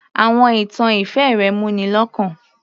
Àwọn ìtàn ìfẹ́ rẹ̀ mú ni lọ́kàn